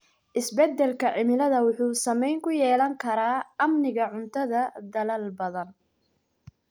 Isbedelka cimilada wuxuu saameyn ku yeelan karaa amniga cuntada dalal badan.